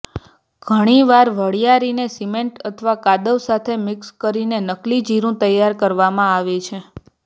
ઘણીવાર વરિયાળીને સિમેન્ટ અથવા કાદવ સાથે મિક્સ કરીને નકલી જીરું તૈયાર કરવામાં આવે છે